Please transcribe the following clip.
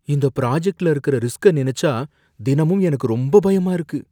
இந்த பிராஜக்ட்ல இருக்கிற ரிஸ்க நினைச்சா தினமும் எனக்கு ரொம்ப பயமா இருக்கு.